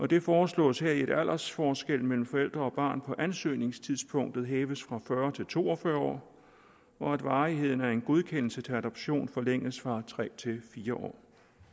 det foreslås heri at aldersforskellen mellem forældre og barn på ansøgningstidspunktet hæves fra fyrre til to og fyrre år og at varigheden af en godkendelse til adoption forlænges fra tre til fire år